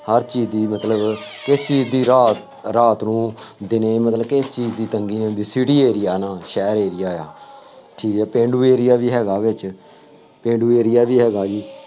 ਹਰ ਚੀਜ਼ ਦੀ ਮਤਲਬ ਇੱਕ ਚੀਜ਼ ਦੀ ਰਾਤ ਰਾਤ ਨੂੰ ਦਿਨੇ ਮਤਲਬ ਕਿ ਕੀ ਕੀ ਤੰਗੀਆਂ ਨੇ, city area ਨਾ, ਸ਼ਹਿਰ area ਆ, ਠੀਕ ਹੈ ਪੇਂਡੂ area ਵੀ ਹੈਗਾ ਹੈ ਇਹਦੇ ਚ, ਪੇਂਡੂ area ਵੀ ਹੈਗਾ ਜੀ,